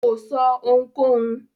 Kò sọ́ ohunkóhun.